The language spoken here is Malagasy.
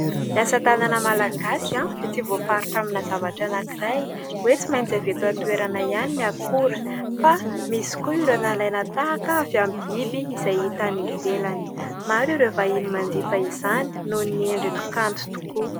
Ny asa tanana malagasy aho dia tsy voafaritra amina zavatra anankiray, hoe tsy maintsy avy eto an-toerana ihany ny akora fa misy koa ireo nalaina tahaka avy amin'ny biby, izay hita any ivelany maro ireo vahiny manjifa izany noho ny endriny kanto tokoa.